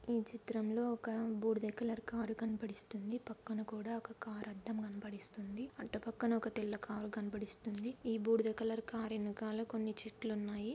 ఈ చిత్రంలో ఒక బూడిద కలర్ కారు కనపడిస్తుంది పక్కన కూడా ఒక కారు అద్దం కనపడిస్తుంది. అటు పక్కన ఒక తెల్ల కారు కనపడిస్తుంది ఈ బూడిద కలర్ కారు వెనకాల కొన్ని చెట్లు ఉన్నాయి.